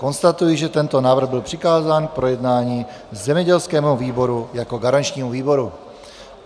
Konstatuji, že tento návrh byl přikázán k projednání zemědělskému výboru jako garančnímu výboru.